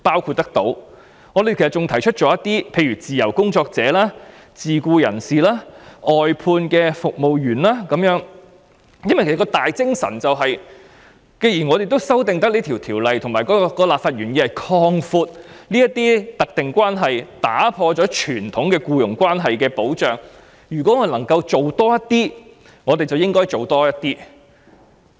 此外，我們也有提及自由工作者、自僱人士及外判服務員工，因為既然我們修訂有關的法例，而立法原意是要擴闊特定關係並打破傳統僱傭關係的保障，所以能夠做得更多，便應該多做一點。